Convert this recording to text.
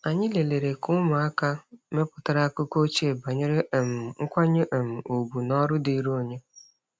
Anyị lelere ka ụmụaka mepụtara akụkọ ochie banyere um nkwanye um ùgwù na ọrụ dịrị onye.